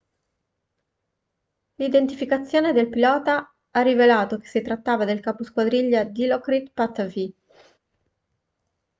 l'identificazione del pilota ha rivelato che si trattava del capo squadriglia dilokrit pattavee